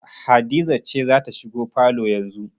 Hadiza ce za ta shigo falo yanzu